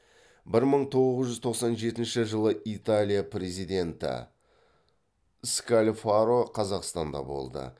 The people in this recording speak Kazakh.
бір мың тоғыз жүз тоқсан жетінші жылы италия президенті скальфаро қазақстанда болды